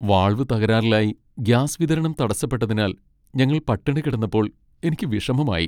Valve തകരാറിലായി gas വിതരണം തടസ്സപ്പെട്ടതിനാൽ ഞങ്ങൾ പട്ടിണി കിടന്നപ്പോൾ എനിക്ക് വിഷമമായി.